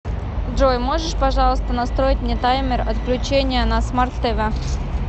джой можешь пожалуйста настроить мне таймер отключения на смарт тв